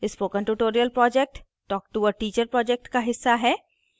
spoken tutorial project talk to a teacher project का हिस्सा है